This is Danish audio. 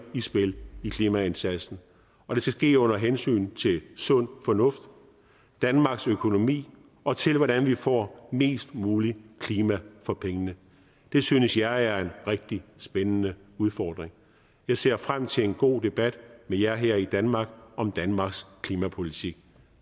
i spil i klimaindsatsen og det skal ske under hensyntagen til sund fornuft danmarks økonomi og til hvordan vi får mest muligt klima for pengene det synes jeg er en rigtig spændende udfordring jeg ser frem til en god debat med jer her i danmark om danmarks klimapolitik